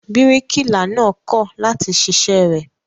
Bíríkìlà náà kọ̀ láti ṣiṣẹ́ rẹ̀.